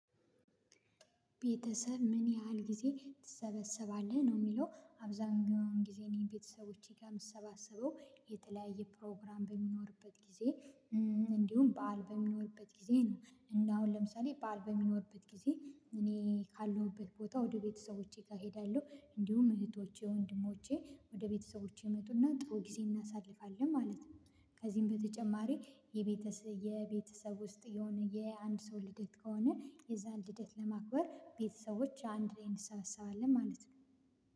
ቤተሰብ ምን ያህል ጊዜ ትሰበሰባለህ ነው የሚለው። አብዛኛውን ጊዜ እኔ ቤተሰቦቼ ጋር የምሰባስበው የተለያየ ፕሮግራም በሚኖርበት ጊዜ እንዲሁም በዓል በሚኖርበት ጊዜ ነው። እና አሁን ለምሳሌ በዓል በሚኖርበት ጊዜ እኔ ካለሁበት ቦታ ወደ ቤተሰቦቼ ጋ ሄዳለሁ። እንዲሁም እህቶቼ፣ ወንድሞቼ ወደ ቤተሰቦቼ እመጡና ጥሩ ጊዜ እናሳልፋለን ማለት ነው። ከዚህም በተጨማሪ የቤተ የቤተሰብ ውስጥ የሆነ የአንድ ሰው ልደት ከሆነ የዛን ልደት ለማክበር ቤተሰቦች አንድ ላይ እንሰባሰባለን ማለት ነው።